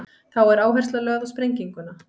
þá er áhersla lögð á sprenginguna